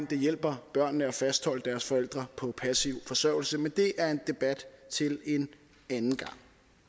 det hjælper børnene at fastholde deres forældre på passiv forsørgelse men det er en debat til en anden gang